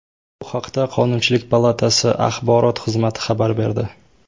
Bu haqda Qonunchilik palatasi axborot xizmati xabar berdi .